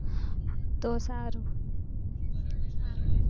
તો સારું